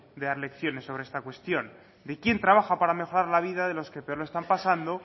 de dar lecciones sobre esta cuestión de quién trabaja para mejorar la vida de los que peor lo están pasando